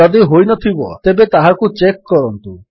ଯଦି ହୋଇନଥିବ ତେବେ ତାହାକୁ ଚେକ୍ କରନ୍ତୁ